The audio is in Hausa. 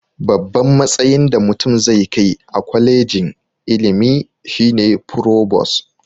Babban matsayin da mutum zai kai a kolegin ilimi shine furobos